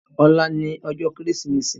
Òlá ni òjò Kérésimési